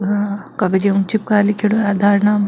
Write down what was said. कागज ऊ चिपकार लिखेडॉ है आधार नाम --